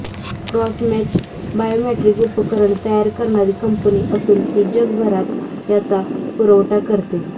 crossmatch biometric उपकरण तयार करणारी कंपनी असून ती जगभरात याचा पुरवठा करते